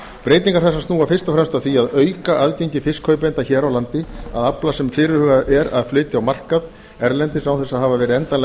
breytingar þessar snúa fyrst og fremst að því að auka aðgengi fiskkaupenda hér á landi að afla sem fyrirhugað er að flytja á markað erlendis án þess að hafa verið endanlega